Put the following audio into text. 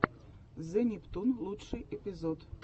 зе нептун лучший эпизод